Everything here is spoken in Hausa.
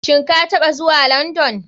Shin kataɓa zuwa london?